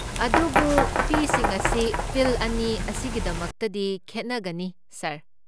ꯑꯗꯨꯕꯨ ꯐꯤꯁꯤꯡ ꯑꯁꯤ ꯐꯤꯜꯗ ꯑꯅꯤ ꯑꯁꯤꯒꯤꯗꯃꯛꯇꯗꯤ ꯈꯦꯠꯅꯒꯅꯤ, ꯁꯥꯔ꯫